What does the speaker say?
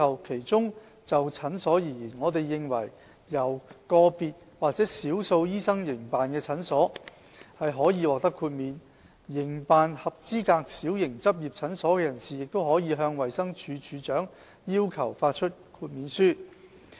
其中，就診所而言，我們認為由個別或少數醫生營辦的診所可以獲得豁免；營辦合資格小型執業診所的人士亦可以向衞生署署長要求發出豁免書。